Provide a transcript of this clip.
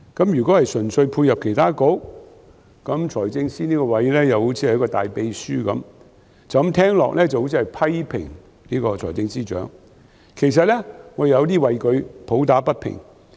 如果純粹配合其他局，財政司司長這個職位就如大秘書，聽起來好像批評財政司司長，其實我有點為他抱不平。